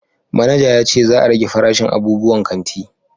Manaja ya ce za a rage farashin abubuwan kanti